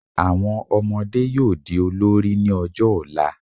Àwọn ọmọdé yóò di olórí ní ọjọ́ ọ̀la